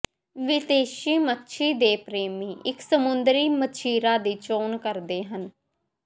ਵਿਦੇਸ਼ੀ ਮੱਛੀ ਦੇ ਪ੍ਰੇਮੀ ਇੱਕ ਸਮੁੰਦਰੀ ਮੱਛੀਰਾ ਦੀ ਚੋਣ ਕਰਦੇ ਹਨ